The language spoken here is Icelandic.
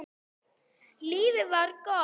Lífið var gott.